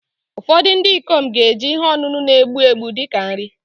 Ụfọdụ ndị ikom ga-eji ihe ọṅụṅụ na-egbu egbu dị ka nri